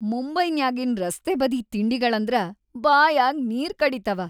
ಮುಂಬೈನ್ಯಾಗಿನ್‌ ರಸ್ತೆಬದಿ ತಿಂಡಿಗಳ್‌ ಅಂದ್ರ ಬಾಯಾಗ್‌ ನೀರ್‌ ಕಡಿತಾವ.